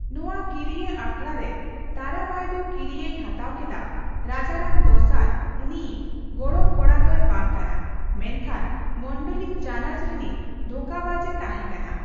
ᱱᱚᱣᱟ ᱠᱤᱨᱭᱟᱹ ᱟᱠᱷᱲᱟ ᱨᱮ, ᱛᱟᱨᱟᱵᱟᱭ ᱫᱚ ᱠᱤᱨᱭᱟᱹᱭ ᱦᱟᱛᱟᱣ ᱠᱮᱫᱟ ᱨᱟᱡᱟᱨᱟᱢ ᱫᱚᱥᱟᱨ ᱩᱱᱤᱭᱤᱡ ᱜᱚᱲᱚᱢ ᱠᱚᱲᱟ ᱫᱚᱭ ᱵᱟᱝ ᱠᱟᱱᱟ, ᱢᱮᱱᱷᱟᱱ ᱢᱚᱸᱰᱞᱤ ᱪᱟᱱᱟᱪ ᱨᱮᱱᱤᱡ ᱫᱷᱟᱠᱟᱵᱟᱡ ᱮ ᱛᱟᱦᱮᱸ ᱠᱟᱱᱟ᱾